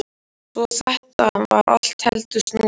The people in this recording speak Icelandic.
Svo þetta var allt heldur snúið.